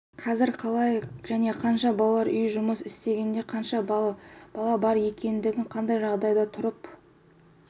қазір қалай және қанша балалар үйі жұмыс істейтіндігін қанша бала бар екендігін қандай жағдайда тұрып